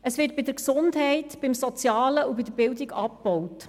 Es wird bei der Gesundheit, beim Sozialen und bei der Bildung abgebaut.